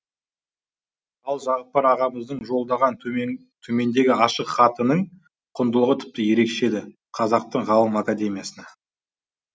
ал жағыпар ағамыздың жолдаған төмендегі ашық хатының құндылығы тіпті ерекше еді қазақтың ғалым академиясына